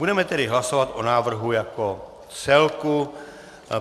Budeme tedy hlasovat o návrhu jako celku.